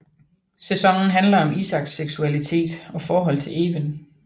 Sæsonen handler om Isaks seksualitet og forhold til Even